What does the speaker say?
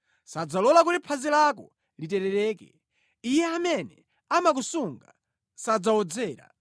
Sadzalola kuti phazi lako literereke; Iye amene amakusunga sadzawodzera.